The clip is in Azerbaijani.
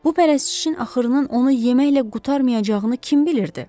Bu pərəstişin axırının onu yeməklə qurtarmayacağını kim bilirdi?